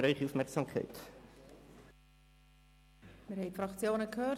Wir haben die Fraktionen gehört.